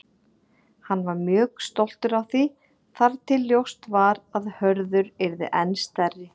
Hann var mjög stoltur af því þar til ljóst var að Hörður yrði enn stærri.